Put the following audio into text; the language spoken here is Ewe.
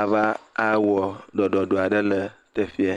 ava awɔ ɖɔɖɔɖo aɖe le teƒeɛ.